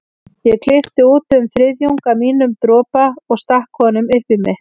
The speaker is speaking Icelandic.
Ég klippti út um þriðjung af mínum dropa og stakk honum upp í mig.